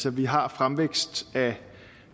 at vi har fremvækst af